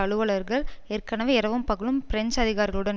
அலுவலர்கள் ஏற்கனவே இரவும் பகலும் பிரெஞ்சு அதிகாரிகளுடன்